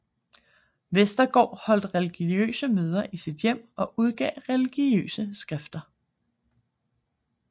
Westergaard holdt religiøse møder i sit hjem og udgav religiøse skrifter